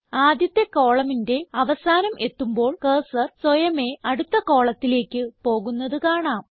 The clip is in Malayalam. ആദ്യത്തെ columnന്റെ അവസാനം എത്തുമ്പോൾ കർസർ സ്വയമേ അടുത്ത കോളത്തിലേക്ക് പോകുന്നത് കാണാം